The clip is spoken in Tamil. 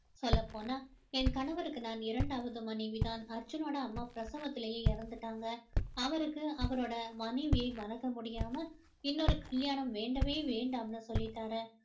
சொல்லப் போனால் என் கணவருக்கு நான் இரண்டாவது மனைவி தான் அர்ஜுனோட அம்மா பிரசவத்திலேயே இறந்துட்டாங்க அவருக்கு அவரோட மனைவியை மறக்க முடியாம இன்னொரு கல்யாணம் வேண்டவே வேண்டாம்னு சொல்லிட்டாரு